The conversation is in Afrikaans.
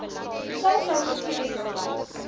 vleissouse gee ekstra